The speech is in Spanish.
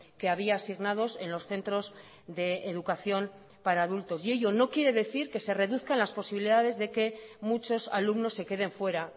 que había asignados en los centros de educación para adultos y ello no quiere decir que se reduzcan las posibilidades de que muchos alumnos se queden fuera